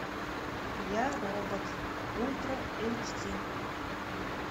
я робот ультра эйч ди